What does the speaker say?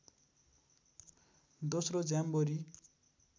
दोस्रो ज्याम्बोरी